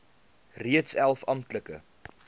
reeds elf amptelike